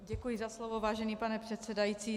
Děkuji za slovo, vážený pane předsedající.